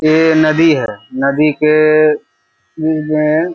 ये नदी है नदी के